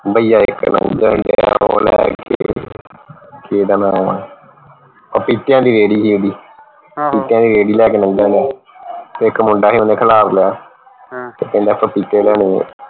ਭਇਆ ਇਕ ਕਿ ਓਹਦਾ ਨਾਉ ਹੈ ਪਪੀਤੀਆਂ ਦੀ ਰੇਹੜੀ ਸੀ ਓਹਦੀ ਪਪੀਤੀਆਂ ਦੀ ਰੇਹੜੀ ਲਾ ਕੇ ਲਾਉਂਦਾ ਵਾ ਤੇ ਇਕ ਮੁੰਡਾ ਓਹਨੇ ਖਲਾਰ ਲਿਆ ਤੇ ਕਹਿੰਦਾ ਪਪੀਤੇ ਲੈਣੇ ਹੈ